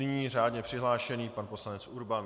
Nyní řádně přihlášený pan poslanec Urban.